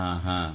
ಹಾಂ ಹಾಂ